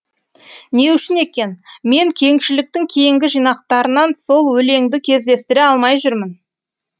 не үшін екен мен кеңшіліктің кейінгі жинақтарынан сол өлеңді кездестіре алмай жүрмін